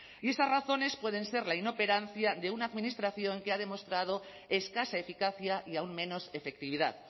y esas razones pueden ser la inoperancia de una administración que ha demostrado escasa eficacia y aún menos efectividad